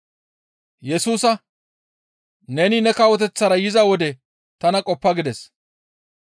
Yesusa, «Neni ne kawoteththara yiza wode tana qoppa!» gides.